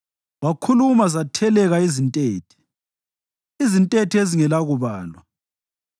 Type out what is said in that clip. Wakhuluma zatheleka izintethe, izintethe ezingelakubalwa;